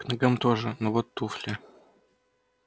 к ногам тоже но вот туфли